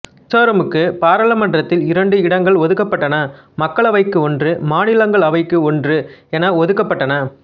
மிசோரமுக்கு பாராளுமன்றத்தில் இரண்டு இடங்கள் ஒதுக்கப்பட்டன மக்களவைக்கு ஒன்று மாநிலங்களவைக்கு ஒன்று என ஒதுக்கப்பட்டன